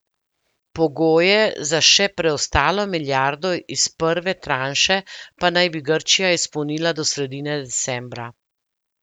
Pogoje za še preostalo milijardo iz prve tranše pa naj bi Grčija izpolnila do sredine decembra.